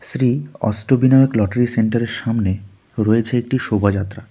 Shri Ashtavinayak lottery সেন্টারের সামনে রয়েছে একটি শোভাযাত্রা.